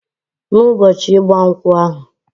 Na ụbọchi igba nkwu ahu...